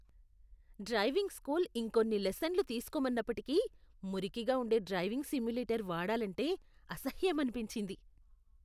Driving school ఇంకొన్ని లెసన్లు తీసుకోమన్నప్పటికీ, మురికిగా ఉండే డ్రైవింగ్ సిమ్యులేటర్ వాడాలంటే అసహ్యమనిపించింది.